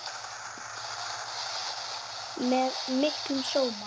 Með miklum sóma.